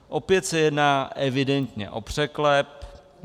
Opět se jedná evidentně o překlep.